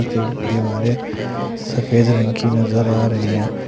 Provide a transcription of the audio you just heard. दीवारें सफेद रंग की नजर आ रहे हैं।